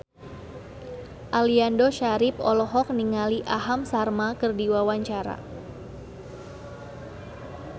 Aliando Syarif olohok ningali Aham Sharma keur diwawancara